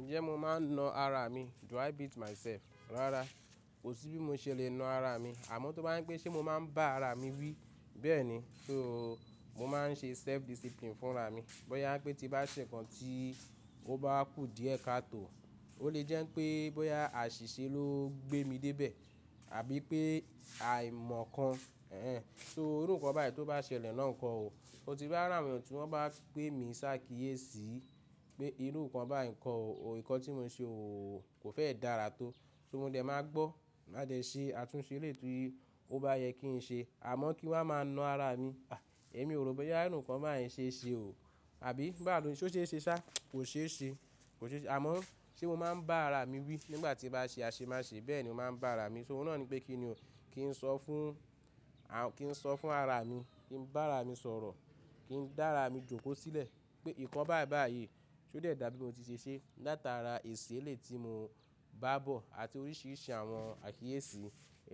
Ǹjẹ́ mo máa ń na ara mi? Do I beat myself? Rárá, ò sí bí mo ṣe lè na ara mi, àmọ́ tó bá yán pé ṣe mo máa ń bá ara mi wí, bẹ́ẹ̀ni, so mo máa ń ṣe self discipline fún ara mi. Bóyá pé tí bá ṣe nǹkan tí ó bá kù díẹ̀ kátò, ó lè jẹ́ pé bóyá àṣìṣe ló gbé mi dé ibẹ̀ àbí pé àìmọ̀ kan. Ẹ̀hẹn, so irú nǹkan báyìí tó bá ṣẹlẹ̀ náà nǹkan o, o ti bá ràwoyan tí wọ́n bá pè mí ṣá kíyèsi pé irú nǹkan báyìí nǹkan o, nǹkan tí mo n ṣe o kò fẹ́ dára tó, so mo dẹ̀ máa gbọ́, máa jẹ̀ ṣé àtúnṣe elé tu yí ó bá yẹ kí n ṣe, àmọ́ kí wọ́n máa na ara mi, àh ẹ̀mi ò rò bóyá irú nǹkan báyìí ṣe ṣe o, àbí bá ń lo, ṣé ṣe ṣá, kò ṣe ṣe, kò ṣe ṣe. Àmọ́ ṣe mo máa ń bá ara mi wí nígbà tí bá ṣe àṣemáṣe bẹ́ẹ̀ ni mo máa ń bá ara mi, so òun náà ni pé kí ni o, kí n sọ fún, kí n sọ fún ara mi, kí n bá ara mi sọ̀rọ̀, kí n dá ara mi jòkó sílẹ̀ pé nǹkan báyìí báyìí ṣe ó dẹ̀ dà bí mo ti ṣe ṣe látara èsì elé tí mo bá bọ̀ àti oríṣìíríṣìí àwọn àkíyèsí